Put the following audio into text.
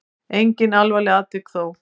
Engin alvarleg tilvik þó.